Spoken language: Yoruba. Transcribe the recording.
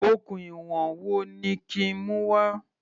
Okùn ìwọ̀n wo ni kí n mú wá?